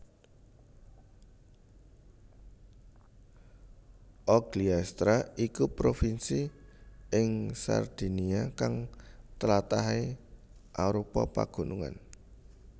Ogliastra iku provinsi ing Sardinia kang tlatahé arupa pagunungan